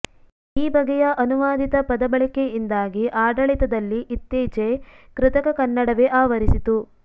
ಈ ಬಗೆಯ ಅನುವಾದಿತ ಪದಬಳಕೆಯಿಂದಾಗಿ ಆಡಳಿತದಲ್ಲಿ ಇತ್ತೀಚೆ ಕೃತಕ ಕನ್ನಡವೇ ಆವರಿಸಿತು